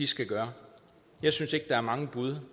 skal gøre jeg synes ikke der er mange bud